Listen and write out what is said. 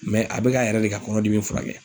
Mɛ a be k'a yɛrɛ de ka kɔnɔdimi furakɛ